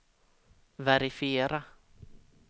verifiera